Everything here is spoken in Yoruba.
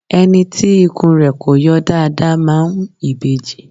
Ẹni tí ikùn rẹ kọ yọ dáadáa máa ń ìbejì